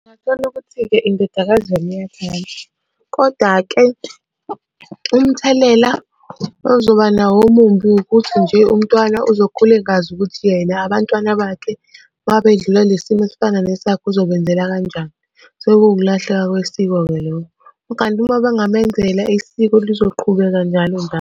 Ungathola ukuthi-ke indodakazi yona iyathanda, koda-ke umthelela ozoba nawo omumbi ukuthi nje umntwana uzokhula engazi ukuthi yena abantwana bakhe uma bedlula kule simo esifana nesakhe uzobenzela kanjani? Kusuke kuwukulahleka kwesiko-ke lokho, kanti uma bengamenzela isiko lizoqhubeka njalo njalo.